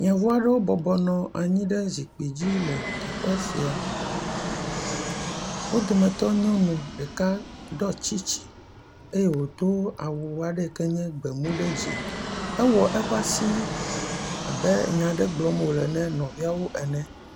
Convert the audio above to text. Yevu aɖewo bɔbɔnɔ anyi ɖe zikpui dzi le teƒe sia, wo dometɔ nyɔnu ɖeka ɖɔ tsitsi eye wòdo awu aɖe yi ke nye gbemu, ɖe dzi ewɔ eƒe asi abe nya aɖe gblɔm wòle na nɔvia ene.